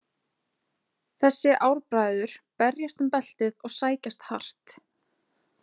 Þessi ár bræður berjast um beltið og sækjast hart.